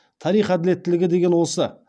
тарих әділеттілігі деген осы